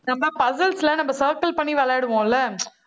நம்ம puzzles ல, நம்ம circle பண்ணி விளையாடுவோம் இல்ல